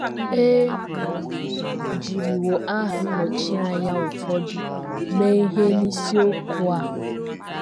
E jiriwo aha nnọchianya ụfọdụ mee ihe n’isiokwu a.